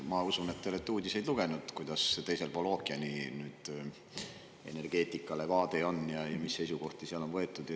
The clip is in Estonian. Ma usun, et te olete uudiseid lugenud ja teate, kuidas teisel pool ookeani nüüd energeetikale vaade on ja mis seisukohti seal on võetud.